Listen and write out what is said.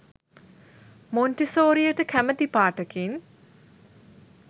මොන්ටිසෝරියට කැමති පාටකින්